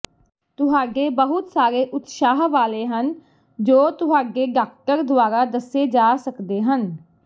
ਤੁਹਾਡੇ ਬਹੁਤ ਸਾਰੇ ਉਤਸ਼ਾਹ ਵਾਲੇ ਹਨ ਜੋ ਤੁਹਾਡੇ ਡਾਕਟਰ ਦੁਆਰਾ ਦੱਸੇ ਜਾ ਸਕਦੇ ਹਨ